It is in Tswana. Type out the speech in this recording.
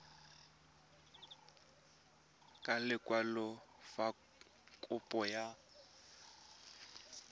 ka lekwalo fa kopo ya